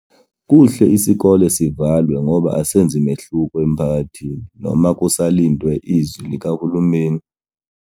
Kuhle isikole sivalwe ngoba asenzi mehluko emphakathini noma kusalindwe izwi likahulumeni.